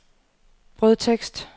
brødtekst